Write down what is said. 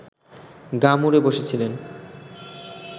গা মুড়ে বসেছিলেন